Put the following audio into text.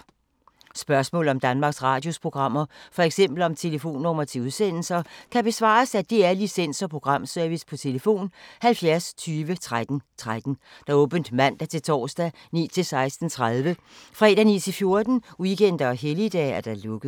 Spørgsmål om Danmarks Radios programmer, f.eks. om telefonnumre til udsendelser, kan besvares af DR Licens- og Programservice: tlf. 70 20 13 13, åbent mandag-torsdag 9.00-16.30, fredag 9.00-14.00, weekender og helligdage: lukket.